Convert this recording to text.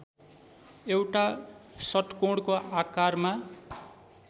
एउटा षट्कोणको आकारमा